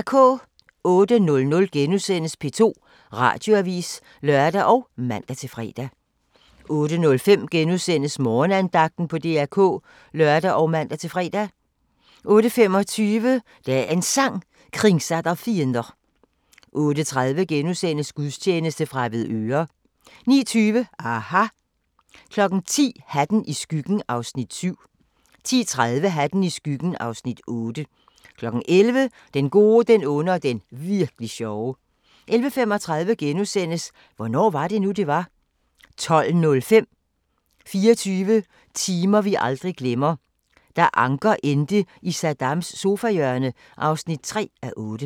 08:00: P2 Radioavis *(lør og man-fre) 08:05: Morgenandagten på DR K *(lør og man-fre) 08:25: Dagens Sang: Kringsatt av fiender 08:30: Gudstjeneste fra Avedøre * 09:20: aHA! 10:00: Hatten i skyggen (Afs. 7) 10:30: Hatten i skyggen (Afs. 8) 11:00: Den Gode, Den Onde og Den Virk'li Sjove 11:35: Hvornår var det nu, det var? * 12:05: 24 timer vi aldrig glemmer: Da Anker endte i Saddams sofahjørne (3:8)